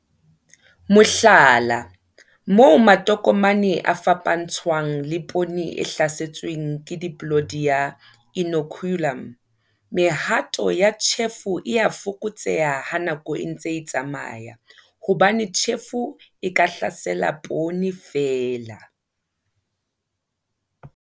Mohlala, moo matokomane a fapantshwang le poone e hlasetsweng ke Diplodia, inoculum, mehato ya tjhefo e a fokotseha ha nako e ntse e tsamaya hobane tjhefo e ka hlasela poone feela.